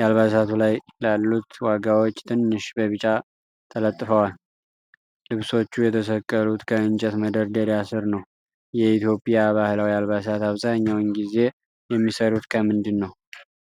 የአልባሳቱ ላይ ላሉት ዋጋዎች ትንሽ በቢጫ ተለጥፈዋል። ልብሶቹ የተሰቀሉት ከእንጨት መደርደሪያ ስር ነው። የኢትዮጵያ ባህላዊ አልባሳት አብዛኛውን ጊዜ የሚሰሩት ከምንድን ነው?